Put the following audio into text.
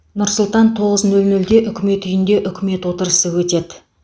нұр сұлтан тоғыз нөл нөлде үкімет үйінде үкімет отырысы өтеді